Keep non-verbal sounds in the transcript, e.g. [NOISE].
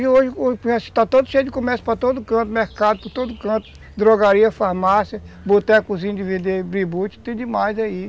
E hoje [UNINTELLIGIBLE] cheio de comércio para todo canto, mercado para todo canto, drogaria, farmácia, botecozinho de vender bributi, tem demais aí.